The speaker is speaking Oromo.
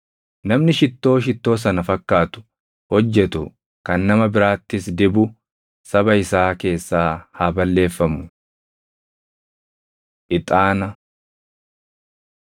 Namni shittoo shittoo sana fakkaatu hojjetu kan nama biraattis dibu saba isaa keessaa haa balleeffamu.’ ” Ixaana